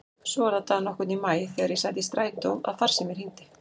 Svo var það dag nokkurn í maí þegar ég sat í strætó að farsíminn hringdi.